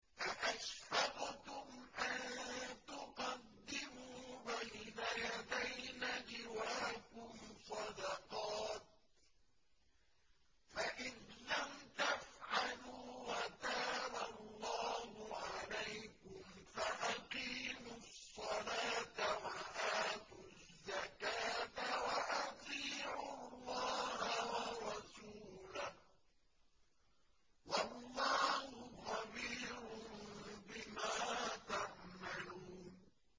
أَأَشْفَقْتُمْ أَن تُقَدِّمُوا بَيْنَ يَدَيْ نَجْوَاكُمْ صَدَقَاتٍ ۚ فَإِذْ لَمْ تَفْعَلُوا وَتَابَ اللَّهُ عَلَيْكُمْ فَأَقِيمُوا الصَّلَاةَ وَآتُوا الزَّكَاةَ وَأَطِيعُوا اللَّهَ وَرَسُولَهُ ۚ وَاللَّهُ خَبِيرٌ بِمَا تَعْمَلُونَ